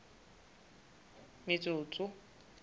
metsotso